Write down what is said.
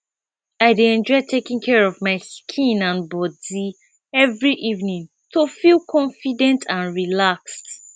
i dey enjoy taking care of my skin and body every evening to feel confident and relaxed